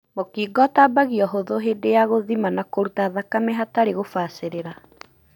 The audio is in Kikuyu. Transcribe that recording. Mũkingo ũtambagio ũhuthu hĩndĩ ya gũthima na kũruta thakame hatarĩ gũbacĩrĩra.